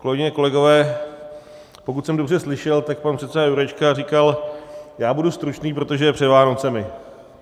Kolegyně, kolegové, pokud jsem dobře slyšel, tak pan předseda Jurečka říkal, já budu stručný, protože je před Vánocemi.